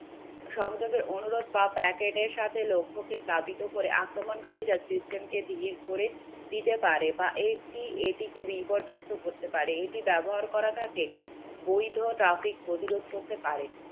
সংযোগের অনুরোধ বা প্যাকেটের সাথে লক্ষ্য কে প্লাবিত করে আক্রমণকারীরা system কে ধীর করে দিতে পারে বা বিপর্যস্ত পারে এটি ব্যবহার করা থাকে বৈধ traffic প্রতিরোধ করতে পারে